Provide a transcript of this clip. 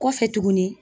Kɔfɛ tuguni